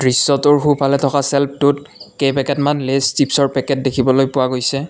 দৃশ্যটোৰ সোঁফালে থকা চেলফটোত কেইপেকেট মান লেইছ চিপচৰ পেকেট দেখিবলৈ পোৱা গৈছে।